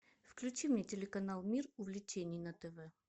включи мне телеканал мир увлечений на тв